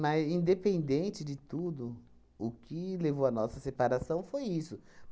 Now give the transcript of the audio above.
Mas, independente de tudo, o que levou à nossa separação foi isso.